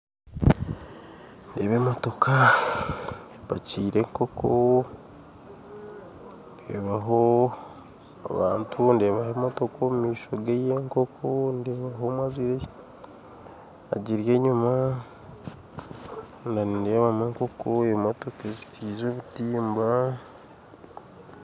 Ndeeba emotoka epakyire enkoko ndeebaho abantu ndeebaho emotoka omu maisho ga ey'enkoko ndeebayo omwe agiri enyuma na nideebamu enkoko omu motoka ezizitirirwe obutimba